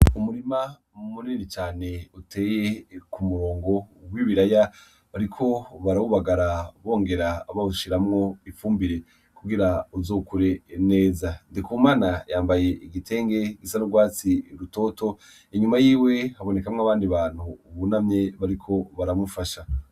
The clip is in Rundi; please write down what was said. Umurima munini cane uteye kumurongo wibiraya bariko barawubagara bongera bawushiramwo ifumbire kugira bizokure neza. NDIKUMANA yambaye igitenge risa n'urwatsi rutoto inyuma yiwe habonekamwo abandi bantu bunamye bariko baramufasha.